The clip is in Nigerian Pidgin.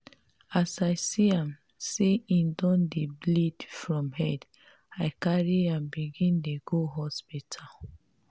as i see am sey im don dey bleed from head i carry am begin dey go hospital.